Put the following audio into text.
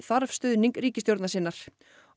þarf stuðning ríkisstjórnar sinnar